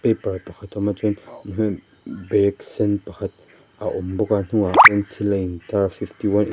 paper pakhat a awm a chuan bag sên pakhat a awm bawk a a hnungah chuan thil a in tar fifty one --